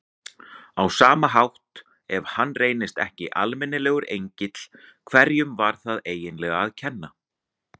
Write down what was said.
Á sama hátt, ef hann reyndist ekki almennilegur engill, hverjum var það eiginlega að kenna?